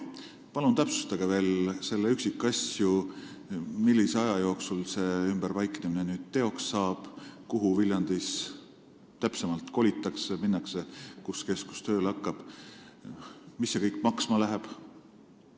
Palun täpsustage veel üksikasju: millise aja jooksul ümberpaiknemine teoks saab, kuhu Viljandis täpsemalt kolitakse, kus keskus tööle hakkab ja mis see kõik maksma läheb?